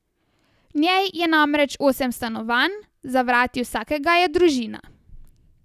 V njej je namreč osem stanovanj, za vrati vsakega je družina.